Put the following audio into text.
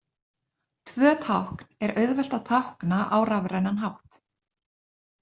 Tvö tákn er auðvelt að tákna á rafrænan hátt.